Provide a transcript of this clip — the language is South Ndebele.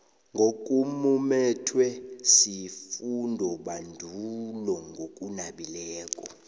nokumumethwe sifundobandulo ngokunabileko